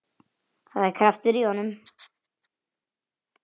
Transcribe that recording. Það er kraftur í honum.